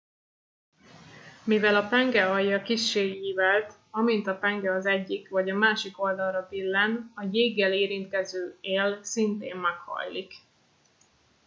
mivel a penge alja kissé ívelt amint a penge az egyik vagy a másik oldalra billen a jéggel érintkező él szintén meghajlik